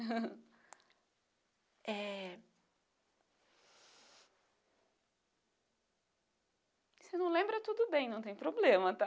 É... Você não lembra tudo bem, não tem problema, tá?